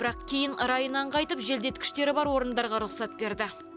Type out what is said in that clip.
бірақ кейін райынан қайтып желдеткіштері бар орындарға рұқсат берді